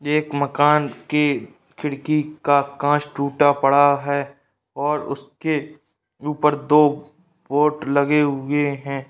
एक माकन के खिड़की का कांच टुटा पड़ा है और उस के ऊपर दो पोर्ट लगे हुए हैं।